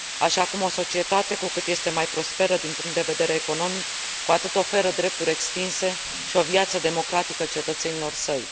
Așa cum o societate, cu cât este mai prosperă din punct de vedere economic, cu atât oferă drepturi extinse și o viață democratică cetățenilor săi.